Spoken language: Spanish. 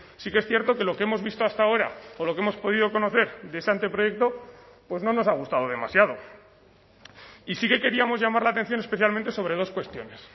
sí que es cierto que lo que hemos visto hasta ahora por lo que hemos podido conocer de ese anteproyecto pues no nos ha gustado demasiado y sí que queríamos llamar la atención especialmente sobre dos cuestiones